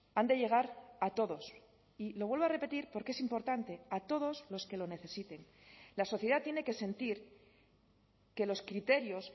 han de llegar a todos y lo vuelvo a repetir porque es importante a todos los que lo necesiten la sociedad tiene que sentir que los criterios